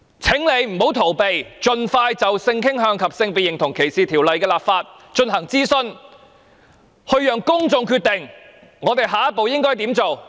請他不要逃避，盡快就性傾向及性別認同歧視條例的立法進行諮詢，讓公眾決定下一步應怎麼辦。